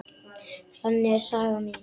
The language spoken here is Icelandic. Þannig er saga mín.